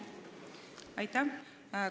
Aitäh!